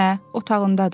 Hə, otağındadır.